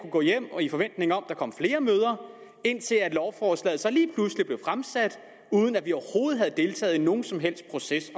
gå hjem i forventning om der kom flere møder indtil lovforslaget lige pludselig blev fremsat uden at vi overhovedet havde deltaget i nogen som helst proces i